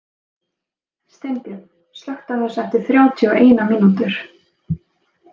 Steinbjörn, slökktu á þessu eftir þrjátíu og eina mínútur.